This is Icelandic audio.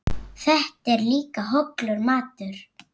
Þetta er líka hollur matur.